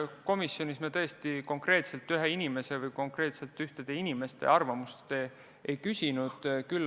Komisjonis me konkreetselt ühe inimese või konkreetselt ühtede inimeste arvamust ei küsinud.